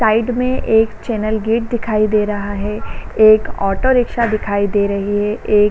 Side में एक channel gate दिखाई दे रहा है। एक ऑटो रिक्शा दिखाई दे रही है। एक --